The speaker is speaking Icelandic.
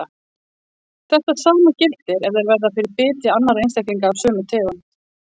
Þetta sama gildir ef þeir verða fyrir biti annarra einstaklinga af sömu tegund.